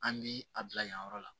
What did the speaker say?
An bi a bila yan yɔrɔ la